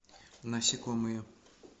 насекомые